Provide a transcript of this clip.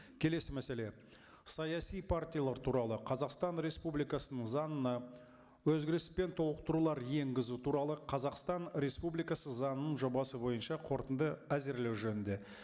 келесі мәселе саяси партиялар туралы қазақстан республикасының заңына өзгеріс пен толықтырулар енгізу туралы қазақстан республикасы заңының жобасы бойынша қорытынды әзірлеу жөнінде